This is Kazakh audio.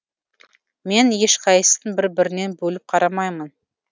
мен ешқайсысын бір бірінен бөліп қарамаймын